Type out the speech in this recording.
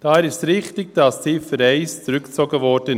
Daher ist es richtig, dass die Ziffer 1 zurückgezogen wurde.